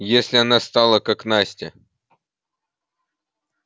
если она стала как настя